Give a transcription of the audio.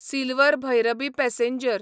Silchar Bhairabi passenger